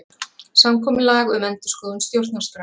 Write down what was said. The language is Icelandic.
Samkomulag um endurskoðun stjórnarskrár